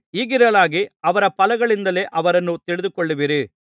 ಹೀಗಿರಲಾಗಿ ಅವರ ಫಲಗಳಿಂದಲೇ ಅವರನ್ನು ತಿಳಿದುಕೊಳ್ಳುವಿರಿ